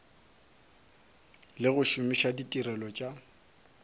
le go šomiša ditirelo tša